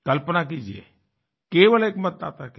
कल्पना कीजिए केवल एक मतदाता के लिए